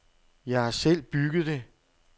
Jeg har selv bygget det.